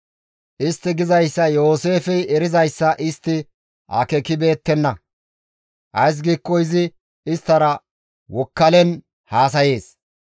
Istti gizayssa Yooseefey erizayssa istti akeekibeettenna; ays giikko izi isttara wokkalen haasayees.